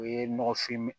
O ye nɔgɔfin